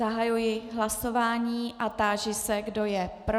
Zahajuji hlasování a táži se, kdo je pro.